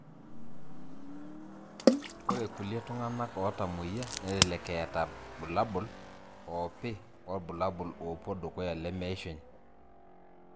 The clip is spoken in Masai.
Ore kulie tunganak otamoyia nelelek etaa bulabul opii wobulabul opwo dukuya lemeishunye.